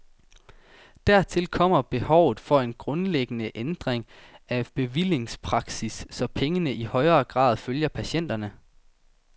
Dertil kommer behovet for en grundlæggende ændring af bevillingspraksis, så pengene i højere grad følger patienterne.